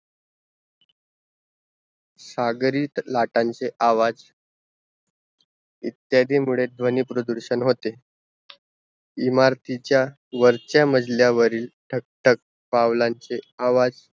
सागरीत लाटांचे आवाज़ इत्यादी मुड़े ध्वनी प्रदूरषण होते इमारतीच्या वरच्या मजल्यावरील ठक ठक पुलांचे आवाज़